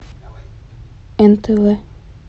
нтв